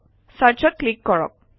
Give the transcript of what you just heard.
Search অত click কৰক